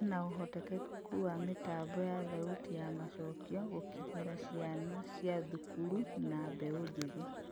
Hena ũhotekeku wa mĩtambo ya thauti ya macokio gũkinyĩra ciana cia thukuru na mbeu njithi ?